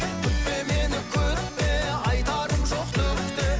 күтпе мені күтпе айтарым жоқ түк те